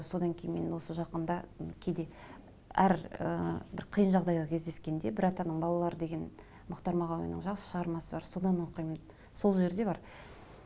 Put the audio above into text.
содан кейін мен осы жақында кейде әр ыыы бір қиын жағдайға кездескенде бір атаның балалары деген мұхтар мағаинның жақсы шығармасы бар содан оқимын сол жерде бар